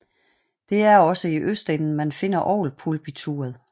Det er også i østenden man finder orgelpulpituret